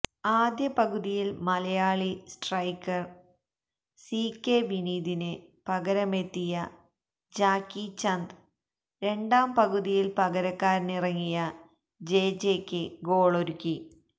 ആദ്യ പകുതിയില് Malayali striker C K വിനീതിന് പകരമെത്തിയ ജാക്കിചന്ദ് രണ്ടാം പകുതിയില് പകരക്കാരനായിറങ്ങിയ ജെജെക്ക് ഗോളൊരുക്കി